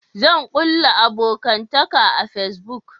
Zan kulla abokantaka a fasibuk